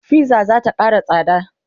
fizza zata Kara tsada